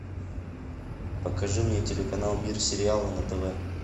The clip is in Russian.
покажи мне телеканал мир сериала на тв